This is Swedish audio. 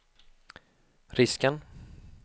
risken